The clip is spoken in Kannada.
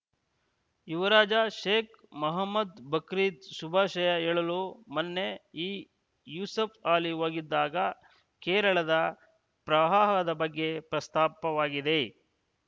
ಯುವರಾಜ ಶೇಕ್‌ ಮೊಹಮ್ಮದ್‌ ಬಕ್ರೀದ್‌ ಶುಭಾಶಯ ಹೇಳಲು ಮೊನ್ನೆ ಈ ಯೂಸುಫ್‌ ಅಲಿ ಹೋಗಿದ್ದಾಗ ಕೇರಳದ ಪ್ರವಾಹದ ಬಗ್ಗೆ ಪ್ರಸ್ತಾಪವಾಗಿದೆ